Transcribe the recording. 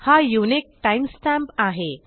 हा unique time stamp आहे